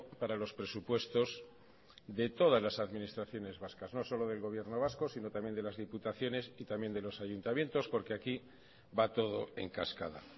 para los presupuestos de todas las administraciones vascas no solo del gobierno vasco sino también de las diputaciones y también de los ayuntamientos porque aquí va todo en cascada